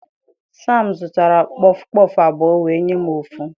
Sam zụtara kpọfụ kpọfụ abụọ wee nye m ofu.